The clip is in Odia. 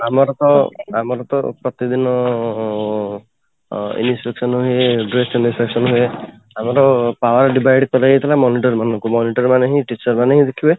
ଆମର ତ ଆମର ତ ପ୍ରତିଦିନ ଅଂ ଆଁ inspection ହୁଏ dress ହୁଏ ଆମର power divide କରାଯାଇଥିଲା monitor ମାନଙ୍କୁ monitor ମାନେ ହିଁ teacher ମାନଙ୍କୁ